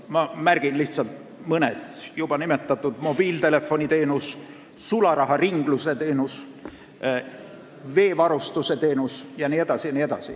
Ma mainin lihtsalt mõne: juba nimetatud mobiiltelefoniteenus, sularaharinglus, veega varustamine jne.